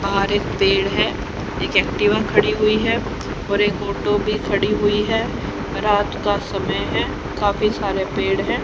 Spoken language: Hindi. बाहर एक पेड़ है एक एक्टिवा खड़ी हुई है और एक ऑटो भी खड़ी हुई है रात का समय है काफी सारे पेड़ हैं।